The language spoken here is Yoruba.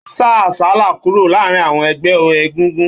Ó sá àsálà kúrò láàárín àwọn ẹgbẹ́ egúngún